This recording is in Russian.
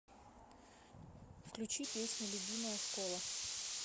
включи песня любимая школа